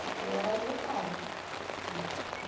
Porque era a minha casa né.